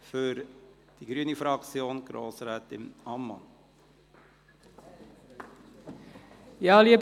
Für die grüne Fraktion hat Grossrätin Ammann das Wort.